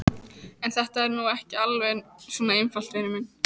En þetta er nú ekki alveg svona einfalt, vinur minn.